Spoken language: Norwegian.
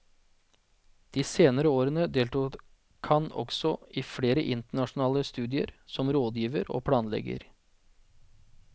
De senere årene deltok han også i flere internasjonale studier som rådgiver og planlegger.